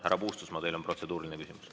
Härra Puustusmaa, teil on protseduuriline küsimus.